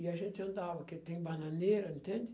E a gente andava, porque tem bananeira, entende?